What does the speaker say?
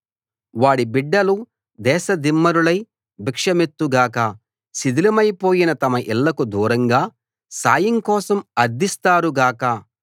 వాడి బిడ్డలు దేశదిమ్మరులై భిక్షమెత్తు గాక శిథిలమైపోయిన తమ ఇళ్ళకు దూరంగా సాయం కోసం అర్థిస్తారు గాక